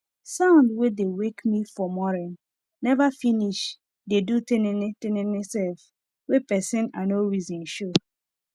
sound wey dey wake me for morin neva finis dey do tinini tinini sef wen pesin i nor reson show